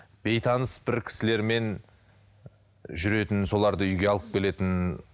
бейтаныс бір кісілермен жүретін соларды үйге алып келетін